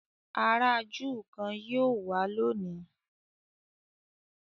àrà júù kán yíò wá lóni